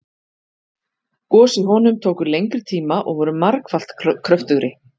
Gos í honum tóku lengri tíma og voru margfalt kröftugri.